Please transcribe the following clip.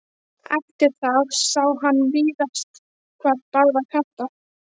Eftir það sá hann víðast hvar báða kanta.